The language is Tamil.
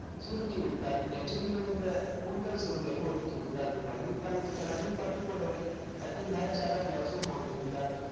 சுருட்டி விட்டாள் நெற்றியில் விழுந்த கூந்தல் சுருளை ஒதுக்கி விட்டாள் மயில் கழுத்து colour ல் பட்டுப்புடவை கட்டி மேட்ச்சாக blouse உம் போட்டிருந்தாள்